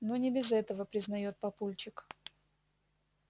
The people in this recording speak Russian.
ну не без этого признает папульчик